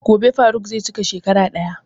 Gobe faruq zai cika shekara ɗaya.